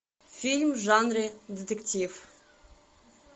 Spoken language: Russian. фильм в жанре детектив